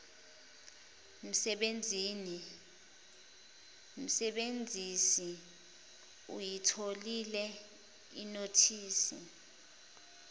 msebenzisi uyitholile inothisi